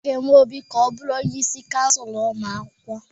A ga-eme Obi ka ọ bụrụ onye isi kansụl ụmụ akwụkwọ.